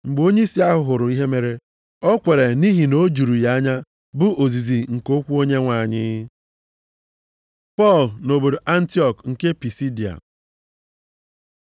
Mgbe onyeisi ahụ hụrụ ihe mere, o kweere, nʼihi na o juru ya anya bụ ozizi nke okwu Onyenwe anyị. Pọl nʼobodo Antiọk nke Pisidia